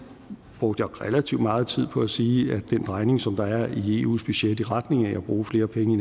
og der jeg relativt meget tid på at sige at den drejning som der er i eus budget i retning af at bruge flere penge